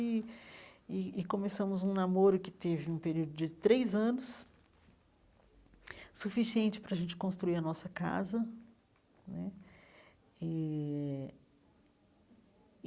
E e e começamos um namoro que teve um período de três anos, suficiente para a gente construir a nossa casa né eh.